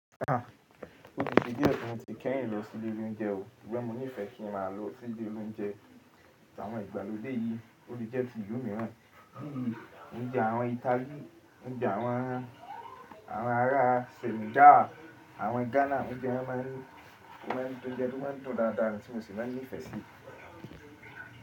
Ó ti se di tí mo ti kẹ́yìn lọ sí ilé oúnjẹ o, ṣùgbọ́n mo nífẹ̀ẹ́ kí n má lọ sí ilé oloúnjẹ tí àwọn ìgbàlódé yìí, ó le jẹ́ till ilú mìíràn, bíi oúnjẹ àwọn Italy, oúnjẹ awon àwọn ará Senegal, àwọn Ghana oúnjẹ wọn máa ń, je óuńjẹ, tó máa ń dùn dáadáa ni tí mo sì máa ń nífẹ̀ẹ́ síi.